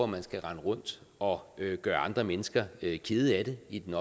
man skal rende rundt og gøre andre mennesker kede af det i den